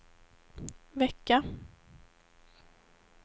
vecka